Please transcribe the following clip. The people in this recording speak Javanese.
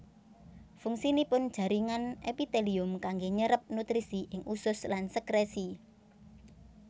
Fungsinipun jaringan èpitèlium kanggè nyérép nutrisi ing usus lan sèkrèsi